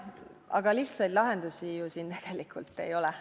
Aga lihtsaid lahendusi siin ju tegelikult ei ole.